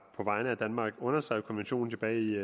vegne af danmark underskrev konventionen tilbage i